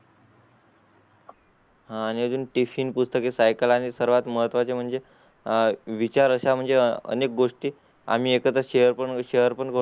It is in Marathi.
हां आणि अजून tifin पुस्तके सायकल आणि सर्वात महत्वाचे म्हणजे आह विचार अशा म्हणजे अनेक गोष्टी आम्ही एखादा शेर पण